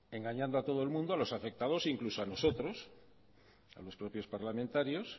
engañando a todo el mundo a los afectados incluso a nosotros a los propios parlamentarios